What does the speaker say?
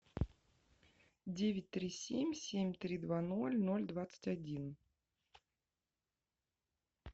девять три семь семь три два ноль ноль двадцать один